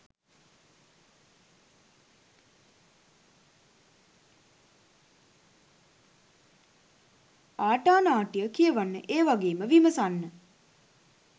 ආටානාටිය කියවන්න ඒ වගේම විමසන්න